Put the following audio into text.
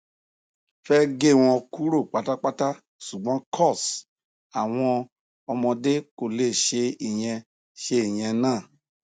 fẹ gé wọn kúrò pátápátá ṣùgbọn coz àwọn ọmọdé kò lè ṣe ìyẹn ṣe ìyẹn náà